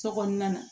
Sokɔnɔna na